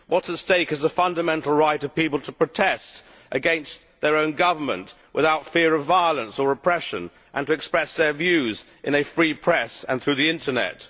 What is at stake is the fundamental right of people to protest against their own government without fear of violence or oppression, and to express their views in a free press and through the internet.